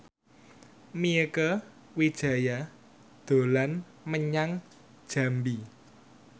Mieke Wijaya dolan menyang Jambi